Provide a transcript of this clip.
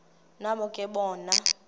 nabo ke bona